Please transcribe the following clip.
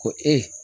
Ko e